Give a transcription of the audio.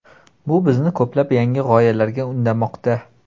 Bu bizni ko‘plab yangi g‘oyalarga undamoqda.